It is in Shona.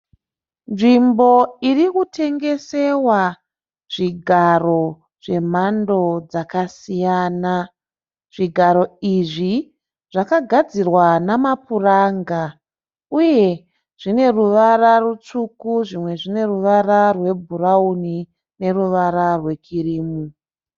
Nzvimbo irikutengesewa zvigaro zvemhando dzakasiyana. Zvigaro izvi zvakagadzirwa namapuranga uye zvine ruwara rutsvuku, zvimwe zvine ruwara rwe bhurawuni neruwara rwe kirimu.